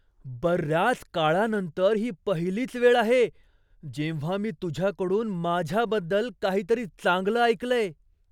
बऱ्याच काळानंतर ही पहिलीच वेळ आहे जेव्हा मी तुझ्याकडून माझ्याबद्दल काहीतरी चांगलं ऐकलंय.